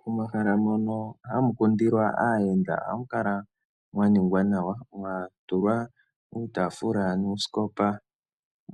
Momahala mono hamu kundilwa aayenda ohamu kala mwa ningwa nawa mwa tulwa uutafula nuusikopa